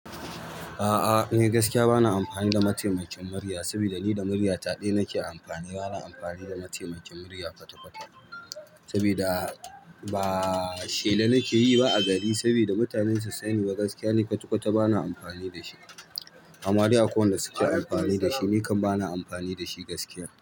A'a, ni gaskiya bana amfani da mataimakin murya sabida ni da murya ta ɗi nake amfani. Bana amfani da mataimakin murya kwata-kwata sabida ba shela nake yi ba a gari sabida mutane su sanni ba gaskiya ni kwata-kwata bana amfani da shi. Ama dai akwai wanda suke amfani da shi, ni kam bana amfani da shi gaskiya.